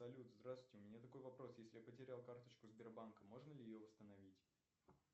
салют здравствуйте у меня такой вопрос если я потерял карточку сбербанка можно ли ее восстановить